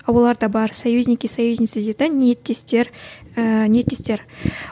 а оларда бар союзники союзницы дейді де ниеттестер ііі ниеттестер